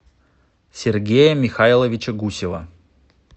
сергея михайловича гусева